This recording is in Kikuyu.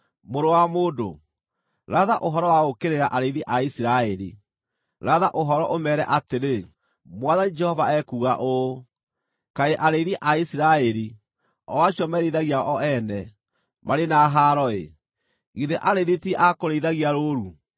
“Mũrũ wa mũndũ, ratha ũhoro wa gũũkĩrĩra arĩithi a Isiraeli; ratha ũhoro, ũmeere atĩrĩ: ‘Mwathani Jehova ekuuga ũũ: Kaĩ arĩithi a Isiraeli, o acio merĩithagia o ene, marĩ na haaro-ĩ! Githĩ arĩithi ti a kũrĩithagia rũũru?